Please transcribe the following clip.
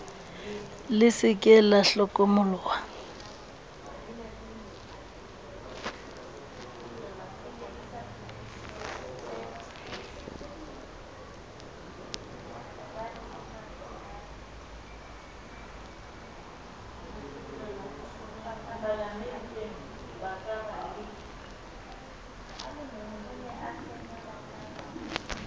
le se ke la hlokomoloha